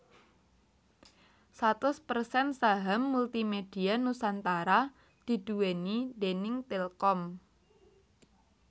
Satus persen saham Multimedia Nusantara diduwéni déning Telkom